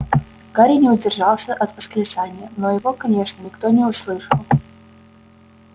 гарри не удержался от восклицания но его конечно никто не услышал